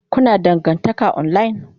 Kuna dangantaka online?